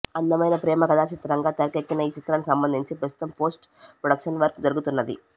అందమైన ప్రేమకథా చిత్రంగా తెరకెక్కిన ఈ చిత్రానికి సంబంధించి ప్రస్తుతం పోస్ట్ ప్రొడక్షన్ వర్క్ జరుగుతున్నది